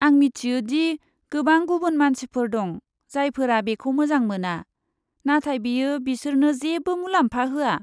आं मिथियो दि गोबां गुबुन मानसिफोर दं, जायफोरा बेखौ मोजां मोना, नाथाय बेयो बिसोरनो जेबो मुलाम्फा होआ।